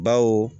Baw